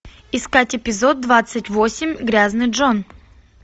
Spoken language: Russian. искать эпизод двадцать восемь грязный джон